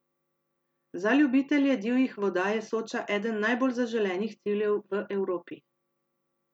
Za ljubitelje divjih voda je Soča eden najbolj zaželenih ciljev v Evropi.